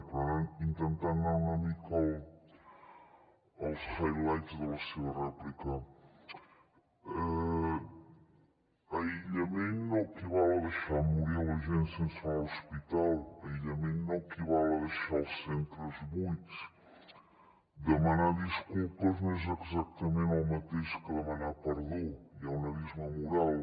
però intentant anar una mica als highlights de la seva rèplica aïllament no equival a deixar morir la gent sense anar a l’hospital aïllament no equival a deixar els centres buits demanar disculpes no és exactament el mateix que demanar perdó hi ha un abisme moral